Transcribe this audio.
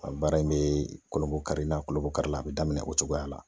A baara in bɛ kolobonkari ,n'a kolobonkari la, a bɛ daminɛ o cogoya la.